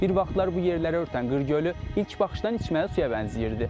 Bir vaxtlar bu yerləri örtən Qırgölü ilk baxışdan içməli suya bənzəyirdi.